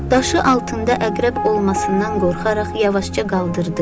Daşı altında əqrəb olmasından qorxaraq yavaşca qaldırdı.